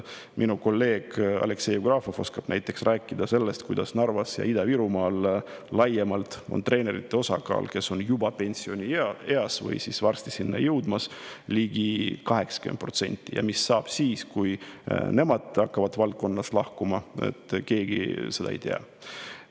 Minu kolleeg Aleksei Jevgrafov oskab näiteks rääkida sellest, kuidas Narvas ja Ida-Virumaal laiemalt on nende treenerite osakaal, kes on juba pensionieas või varsti sinna jõudmas, ligi 80%, ja mis saab siis, kui nemad hakkavad valdkonnast lahkuma, seda keegi ei tea.